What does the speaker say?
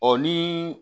Ɔ ni